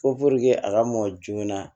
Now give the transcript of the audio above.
Ko a ka mɔ joona